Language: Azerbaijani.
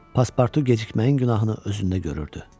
Pasportu gecikməyin günahını özündə görürdü.